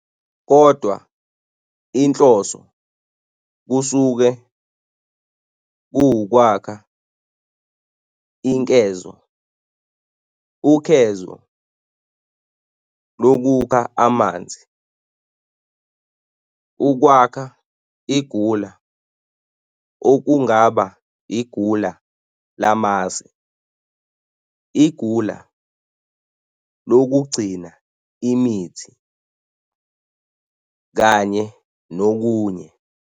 kodwa inhloso kusuke kuwukwakha inkezo, ukhezo lokukha amanzi, ukwakha igula okungaba igula lamasi, igula lokugcina imuthi, kanye nokunye.